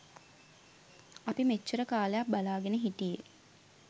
අපි මෙච්චර කාලයක් බලා ගෙන හිටියේ.